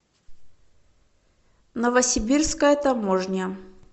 новосибирская таможня